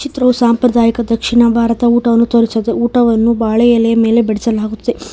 ತೃ ಸಾಂಪ್ರದಾಯಿಕ ದಕ್ಷಿಣ ಭಾರತ ಊಟವನ್ನು ತೋರಿಸಿದೆ ಊಟವನ್ನು ಬಾಳೆ ಎಲೆ ಮೇಲೆ ಬಡಿಸಲಾಗುತ್ತೆ.